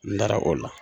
N dara o la